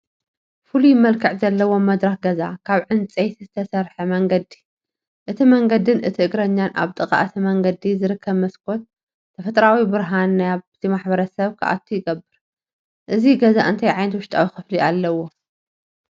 ፍሉይ መልክዕ ዘለዎ መድረኽ ገዛ ካብ ዕንጨይቲ ዝተሰርሐ መንገዲ፣ እቲ መንገድን እቲ እግረኛን ኣብ ጥቓ እቲ መንገዲ ዝርከብ መስኮት ተፈጥሮኣዊ ብርሃን ናብቲ ማሕበረሰብ ክኣቱ ይገብር። እዚ ገዛ እንታይ ዓይነት ውሽጣዊ ክፍሊ ኣለዎ?